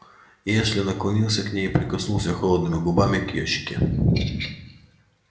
и эшли наклонился к ней и прикоснулся холодными губами к её щеке